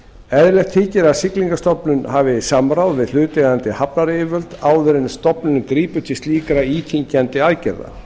eðlilegt þykir að siglingastofnun hafi samráð við hlutaðeigandi hafnaryfirvöld áður en stofnunin grípur til slíkra íþyngjandi aðgerða